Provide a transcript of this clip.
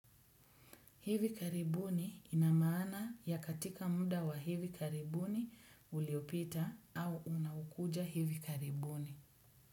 Hivi karibuni ina maana ya katika muda wa hivi karibuni uliopita au unaokuja hivi karibuni.